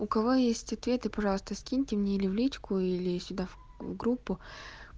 у кого есть ответы пожалуйста скиньте мне или в личку или сюда в группу